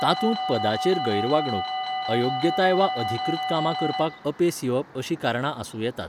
तातूंत पदाचेर गैरवागणूक, अयोग्यताय वा अधिकृत कामां करपाक अपेस येवप अशीं कारणां आसूं येतात.